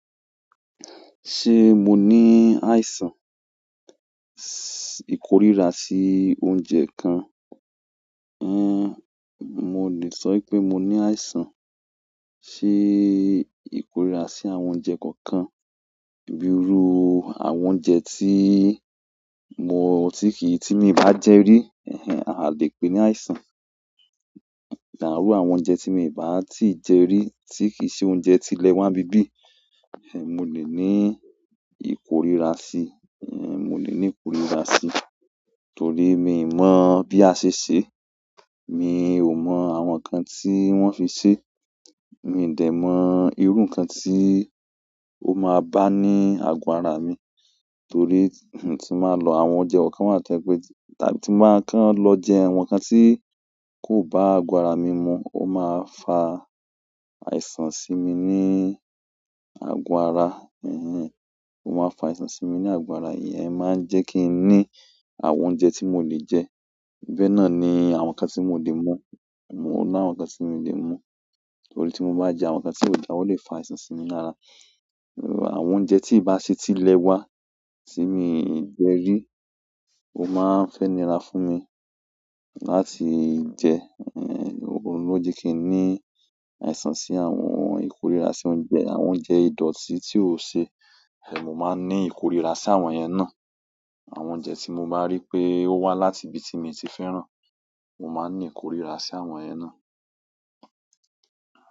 Ṣé mo ní àìsàn s- ìkoríra sí oúnjẹ kan? En, mo le so wípé mo ni àìsàn si ikorira si àwọn oúnjẹ kan kan, bi iru àwọn oúnjẹ ti mo, ti ki, ti mi n ba je ri. A le pe ni àìsàn ìrú àwọn oúnjẹ tí mi ò bá tíì jẹ rí, tí kì ṣe oúnjẹ tí ilẹ̀ wa bi bí, ẹ̀h ẹn, mo lè ní ìkoríra sí, ẹ̀hn, mo lè ní ìkoríra sí. Torí mi mọ̀ bí a ṣe ṣe, mi ò mọ àwọn ǹkan tí wọ́n fi sè. Mi de mo iru nkan ti o ma ba ni aago ara mi, torí hmm, tin ba lo, àwọn oúnjẹ kan kan wa to je wípé, ti- tàbí tin ba kan lo je àwọn nkan ti ko ba aago ara mi mu, o ma fa àìsàn sí mi ní àgọ̀ ara, ẹ̀hẹn. Ó máa fa àìsàn sí mi ní àgọ̀ ara. Ìyẹn máa ń jẹ́ kín ní àwọn oúnjẹ tí mò lè jẹ. Bẹ́ẹ̀ náà ni àwọn ǹkan tí mò lè mú. Mò àwọn ǹkan tí mi ò lè mú. Torí tí mo bá jẹ àwọn ǹkan tí ò dà o lè fa àìsàn sí mi lára. Àwọn oúnjẹ tí bá ṣe tí ilẹ̀ wa tí mi ò jẹ rí, ó máa ń fẹ́ nirà fún mi láti jẹ. O n lo je kí ní àìsàn sí àwọn ìkoríra sí oúnjẹ. Àwọn oúnjẹ ìdọ̀tí tí ò ṣe, ẹn, mo máa ń ní ìkoríra sí àwọn yẹn náà. Àwọn oúnjẹ ti mo ma ri pe o wa láti ibi ti mi ti fẹ́ràn, mo maa n ni ikorira si àwọn yen náà.